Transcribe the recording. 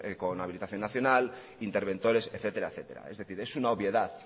con habilitación nacional interventores etcétera etcétera es decir es una obviedad